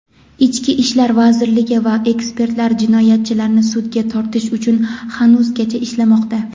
ichki ishlar vazirligi va ekspertlar jinoyatchilarni sudga tortish uchun hanuzgacha ishlamoqda.